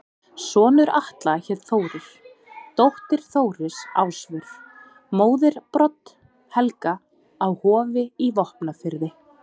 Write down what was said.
Sonur Atla hét Þórir, dóttir Þóris Ásvör, móðir Brodd-Helga á Hofi í Vopnafirði.